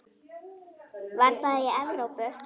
Var það í Evrópu?